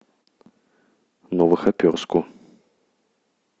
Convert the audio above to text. новохоперску